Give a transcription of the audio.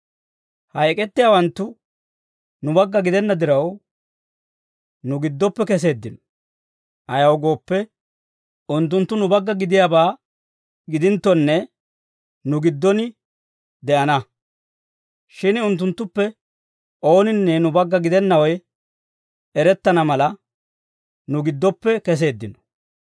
Ha ek'ettiyaawanttu nu bagga gidenna diraw, nu giddoppe keseeddino; ayaw gooppe, unttunttu nu bagga gidiyaabaa gidinttonne, nu giddon de'ana; shin unttunttuppe ooninne nu bagga gidennawe erettana mala, nu giddoppe keseeddino.